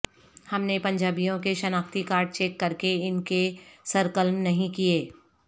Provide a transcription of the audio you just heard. ہم نے پنجابیوں کے شناختی کارڈ چیک کر کے ان کے سر قلم نہیں کیے